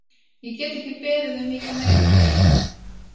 Ég get ekki beðið um mikið meira frá leikmönnunum.